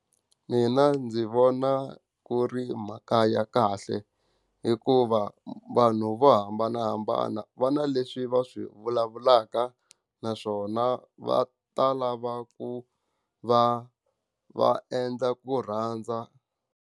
Mina ndzi vona ku ri mhaka ya kahle hikuva vanhu vo hambanahambana va na leswi va swi vulavulaka, naswona va ta lava ku va va endla ku rhandza.